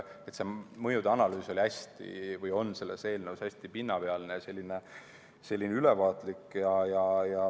See analüüs on selles eelnõus hästi pinnapealne, ülevaatlik.